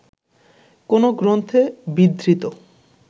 কোন গ্রন্থে বিধৃত